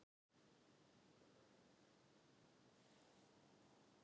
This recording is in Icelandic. Hvort myndir þú borða kúk með súkkulaði bragði eða súkkulaði með kúk bragði?